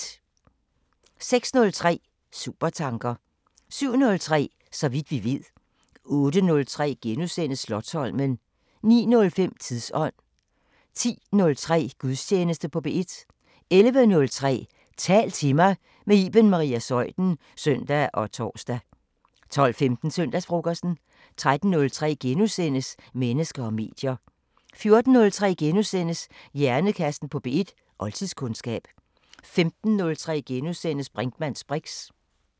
06:03: Supertanker 07:03: Så vidt vi ved 08:03: Slotsholmen * 09:05: Tidsånd 10:03: Gudstjeneste på P1 11:03: Tal til mig – med Iben Maria Zeuthen (søn og tor) 12:15: Søndagsfrokosten 13:03: Mennesker og medier * 14:03: Hjernekassen på P1: Oldtidskundskab * 15:03: Brinkmanns briks *